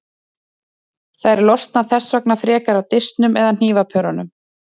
Þær losna þess vegna frekar af disknum eða hnífapörunum.